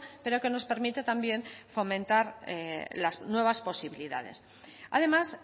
pero que nos permite también fomentar las nuevas posibilidades además